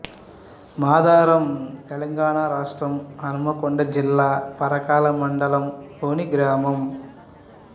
మాధారం తెలంగాణ రాష్ట్రం హన్మకొండ జిల్లా పరకాల మండలం లోని గ్రామం